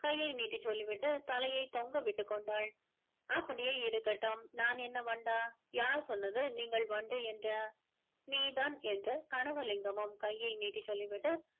கையை நீட்டி சொல்லி விட்டு தலையை தொங்க விட்டுக்கொண்டாள் அப்படியே இருக்கட்டும் நான் என்ன வண்டா யார் சொன்னது நீங்கள் வண்டு என்று நீதான் என்று கனவலிங்கமும் கையை நீட்டி சொல்லி விட்டு